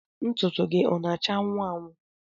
Ntụtụ gị ọ na-acha anwụ anwụ?